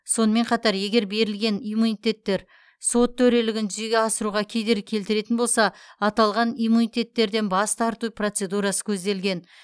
сонымен қатар егер берілген иммуниттер сот төрелігін жүзеге асыруға кедергі келтіретін болса аталған иммунитеттерден бас тарту процедурасы көзделген